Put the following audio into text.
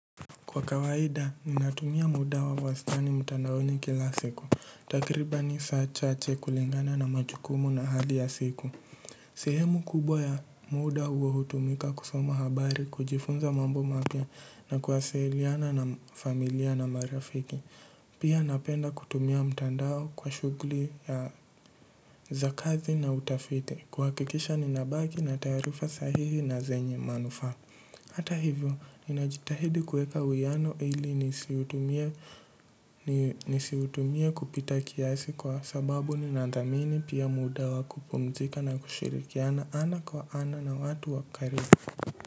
Kwa kawaida, ninatumia muda wa wastani mtandaoni kila siku. Takribani saa chache kulingana na majukumu na hali ya siku. Sehemu kubwa ya muda huo hutumika kusoma habari, kujifunza mambo mapya na kuwasiliana na familia na marafiki. Pia napenda kutumia mtandao kwa shughuli ya za kazi na utafiti. Kuhakikisha ninabaki na taarifa sahihi na zenye manufaa. Hata hivyo, ninajitahidi kuweka uwiano ili nisiutumie kupita kiasi kwa sababu ninathamini pia muda wa kupumzika na kushirikiana ana kwa ana na watu wa karibu.